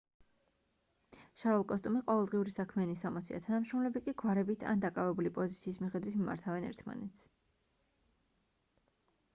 შარვალ-კოსტუმი ყოველდღიური საქმიანი სამოსია თანამშრომლები კი გვარებით ან დაკავებული პოზიციის მიხედვით მიმართავენ ერთმანეთს